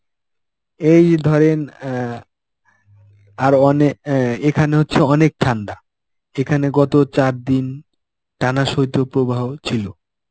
এই ধরেন অ্যাঁ আরো অনেক অ্যাঁ এখানে হচ্ছে অনেক ঠান্ডা. এখানে গত চারদিন টানা শৈত্য প্রবাহ ছিল.